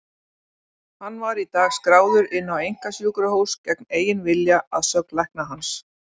Hann var í dag skráður inn á einkasjúkrahús gegn eigin vilja, að sögn lækna hans.